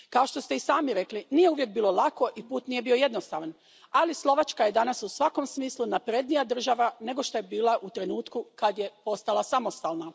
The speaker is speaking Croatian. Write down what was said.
Kao što ste i sami rekli, nije uvijek bilo lako i put nije bio jednostavan, ali Slovačka je danas u svakom smislu naprednija država nego što je bila u trenutku kad je postala samostalna.